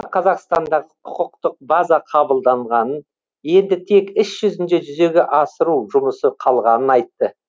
қазақстандағы құқықтық база қабылданғанын енді тек іс жүзінде жүзеге асыру жұмысы қалғанын айтты